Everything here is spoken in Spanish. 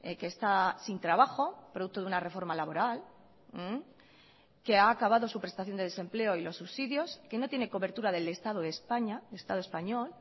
que está sin trabajo producto de una reforma laboral que ha acabado su prestación de desempleo y los subsidios que no tiene cobertura del estado de españa del estado español